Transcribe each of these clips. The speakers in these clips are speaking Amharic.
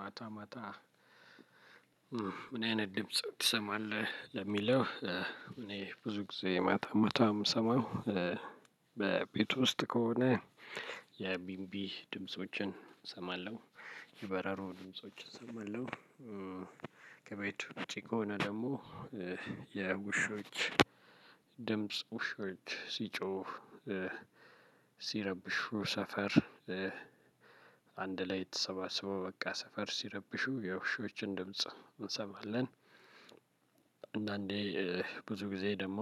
ማታ ማታ ምን አይነት ድምጽ ትሰማለህ ለሚለው? እኔ ብዙ ጊዜ ማታ ማታ መሰማው በቤቱ ውስጥ ከሆነ የቢቢ ድምፆችን እሰማለሁ የበረሮ ድምፆችን እሰማለሁ። ከቤቱ ውጭ ከሆነ ደግሞ የውሾች ድምጽ ውሾች ሲጮሁ ሲረብሹ ሰፈር አንድ ላይ የተሰባሰበው በቃ ሰፈር ሲረብሹ የውሾችን ድምጽ እንሰማለን። አንዳንዴ ብዙ ጊዜ ደግሞ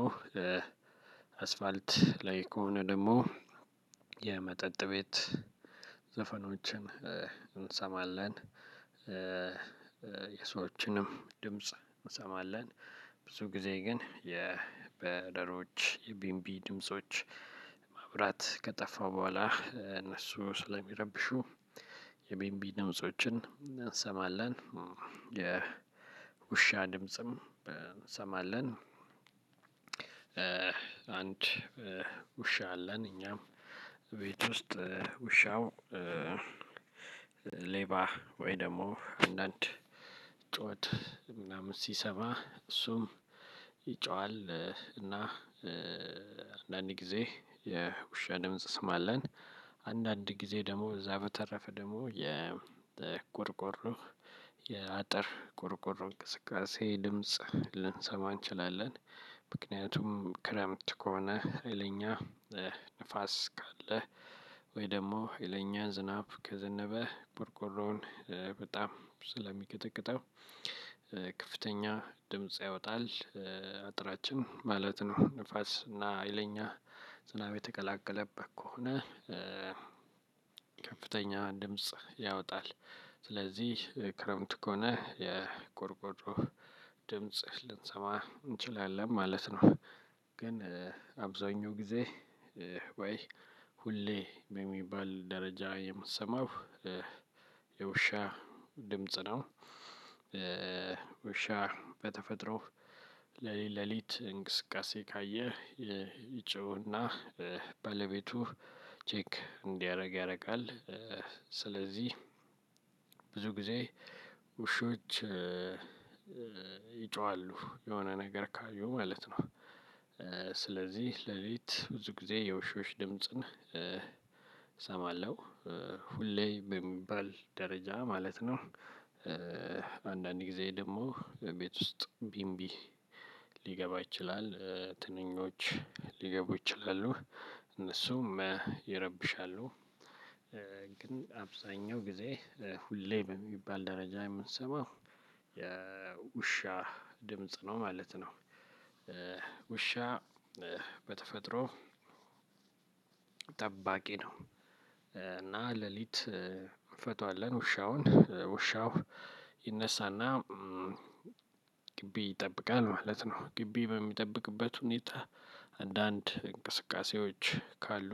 አስፓልት ላይ ከሆነ ደግሞ የመጠጥ ቤት ዘፈኖችን እንሰማለን። የሰዎችንም ድምጽ እንሰማለን ብዙ ጊዜ ግን የበረሮች የቢንቢ ድምጾች። ማብራት ከጠፋ በኋላ እነሱ ስለሚረብሹ የቢንቢ ድምፆችን እንሰማለን የውሻ ድምጽም እንሰማለን። አንድ ውሻ አለን እኛም ቤት ውስጥ ውሻው። ሌባ ወይ ደግሞ አንዳንድ ምናምን ሲሰማ እሱም ይጮሃል። እና አንዳንድ ጊዜ የውሻ ድምጽ ስም አለን። አንዳንድ ጊዜ ደግሞ ከዛ በተረፈ ደግሞ የቆርቆሮ የአጥር ቆርቆሮ እንቅስቃሴ ድምጽ ልንሰማ እንችላለን። ምክንያቱም ክረምት ከሆነ ሄይለኛ ንፋስ ካለ ወይ ደግሞ ሀይለኛ ዝናብ ከዘነበ ቆርቆሮውን በጣም ስለሚቀጠቅጠው ከፍተኛ ድምጽ ያወጣል። አጥራችን ማለትም ንፋስ እና ሀይለኛ ዝናብ የተቀላቀለበት ከሆነ ከፍተኛ ድምጽ ያወጣል። ስለዚህ ክረምት ከሆነ የቆርቆሮ ድምጽ ልንሰማ እንችላለን ማለት ነው። ግን አብዛኛው ጊዜ ወይ ሁሌ በሚባል ደረጃ የምትሰማው የውሻ ድምጽ ነው። ውሻ በተፈጥሮ ለሊት ለሊት እንቅስቃሴ ካየህ ይጮህና ባለቤቱ ቼክ እንዲያደርግ ያደርጋል ስለዚህ ብዙ ጊዜ ውሾች ይጮሃሉ የሆነ ነገር ካዪ ማለት ነው። ስለዚህ ሌሊት ብዙ ጊዜ የውሾች ድምጽን እሰማለሁ ሁሌ የሚባል ደረጃ ማለት ነው። አንዳንድ ጊዜ ደግሞ ቤት ውስጥ ቢንቢ ሊገባ ይችላል ትንኞች ሊገቡ ይችላሉ እነሱም ይረብሻሉ። ግን አብዛኛው ጊዜ ሁሌም የሚባል ደረጃ የምንሰማው የውሻ ድምጽ ነው ማለት ነው። ውሻ በተፈጥሮ ጠባቂ ነው። እና ሌሊት እንፈታዋለን ውሻውን ውሻው ይነሳና ግቢ ይጠብቃል ማለት ነው። ግቢ በሚጠብቅበት ሁኔታ አንዳንድ እንቅስቃሴዎች ካሉ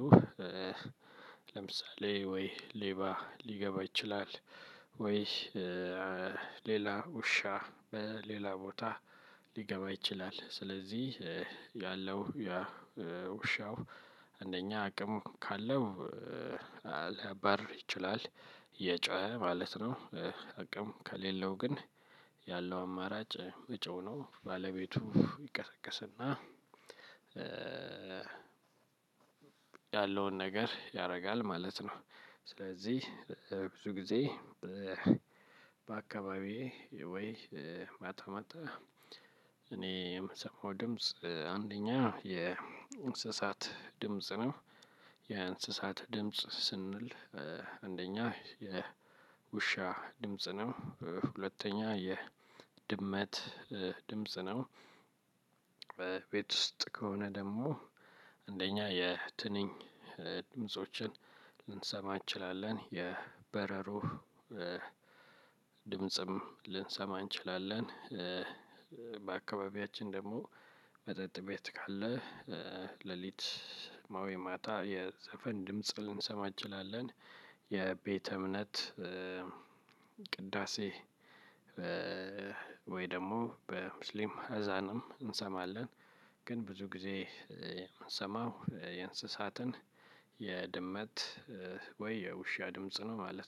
ለምሳሌ ወይ ሌባ ሊገባ ይችላል። ወይ ሌላ ውሻ በሌላ ቦታ ሊገባ ይችላል። ስለዚህ ያለው ያ ውሻው አንደኛ አቅም ካለው ሊባርር ይችላል የጮኸ ማለት ነው። አቅም ከሌለው ግን ያለው አማራጭ መጮህ ነው ባለቤቱ ይቀሰቀስና ያለውን ነገር ያደርጋል ማለት ነው። ስለዚህ ብዙ ጊዜ በአካባቢዬ ወይ ማታ ማታ እኔ የምሰማው ድምጽ አንደኛ የእንስሳት ድምጽ ነው። የእንስሳት ድምጽ ስንል አንደኛ የውሻ ድምጽ ነው ሁለተኛ የድመት ድምጽ ነው። ቤት ውስጥ ከሆነ ደግሞ አንደኛ የትንኝ ድምፆችን ልንሰማ እንችላለን የበረሩ ድምጽም ልንሰማ እንችላለን። በአካባቢያችን ደግሞ መጠጥ ቤት ካለ ሌሊት ማታ ማታ የዘፈን ድምጽ ልንሰማ እንችላለን። የቤተ እምነት ቅዳሴ ወይ ደግሞ በሙስሊም አዛንም እንሰማለን። ግን ብዙ ጊዜ የምንሰማው የእንስሳትን የድመት ወይ የውሻ ድምጽ ነው ማለት ነው